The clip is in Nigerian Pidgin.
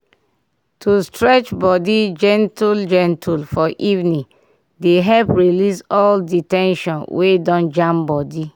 to dey stretch body gentle-gentle for evening dey help release all the ten sion wey don jam body.